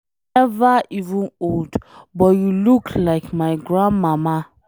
You never even old but you look like my grandmama.